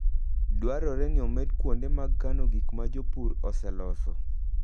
Dwarore ni omed kuonde mag kano gik ma jopur oseloso.